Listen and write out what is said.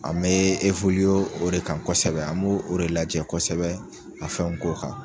An mɛ o de kan kosɛbɛ an mo o de lajɛ kosɛbɛ ka fɛnw k'o kan.